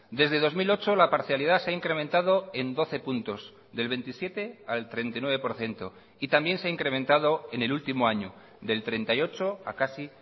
desde dos mil ocho la parcialidad se ha incrementado en doce puntos del veintisiete al treinta y nueve por ciento y también se ha incrementado en el último año del treinta y ocho a casi